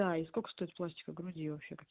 да сколько стоит пластика груди вообще какие